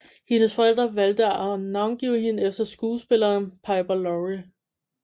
Hendes forældre valgte at navngive hende efter skuespilleren Piper Laurie